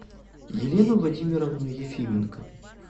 елену владимировну ефименко